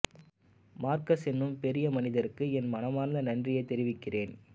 Marcus என்னும் பெரிய மனிதருக்கு என் மனமார்ந்த நன்றியை தெரிவிக்கிறேன்